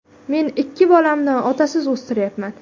Men ikki bolamni otasiz o‘stiryapman.